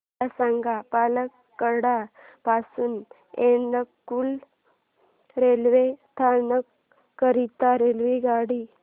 मला सांग पलक्कड पासून एर्नाकुलम रेल्वे स्थानक करीता रेल्वेगाडी